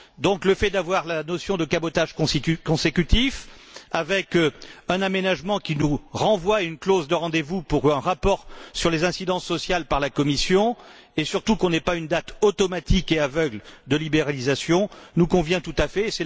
Donc, le fait d'avoir la notion de cabotage consécutif, avec un aménagement qui nous renvoie à une clause de rendez vous pour un rapport sur les incidences sociales par la Commission, et surtout qu'on n'ait pas une date automatique et aveugle de libéralisation, nous convient tout à fait.